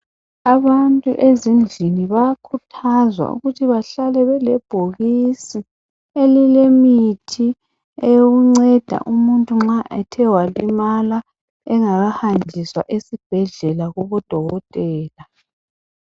Abantu ezindlini bayakhuthazwa ukuthi bahlale bele bhokisi elile mithi eyokunceda umuntu nxa ethe walimala engakahanjiswa esibhedlela kubo dokotela.